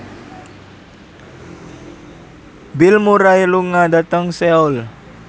Bill Murray lunga dhateng Seoul